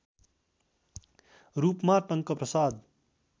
रूपमा टंकप्रसाद